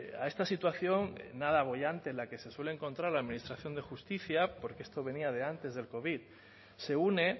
a esta situación nada boyante en la que se suele encontrar la administración de justicia porque esto venía de antes del covid se une